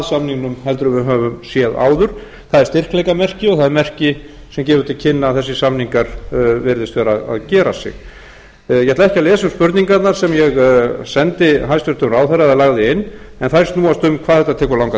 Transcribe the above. samningnum heldur en við höfum séð áður það er styrkleikamerki og það er merki sem gefur til kynna að þessir samningar virðist vera að gera sig ég ætla ekki að lesa upp spurningarnar sem ég sendi hæstvirtur ráðherra eða lagði inn en þær snúast um hvað þetta tekur langan